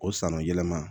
O sanu yɛlɛma